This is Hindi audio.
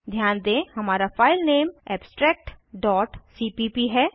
ध्यान दें हमारा फाइल नेम abstractसीपीप है